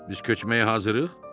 Biz köçməyə hazırıq?